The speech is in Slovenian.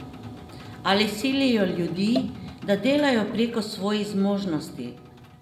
Ali silijo ljudi, da delajo preko svojih zmožnosti?